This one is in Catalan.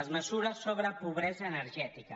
les mesures sobre pobresa energètica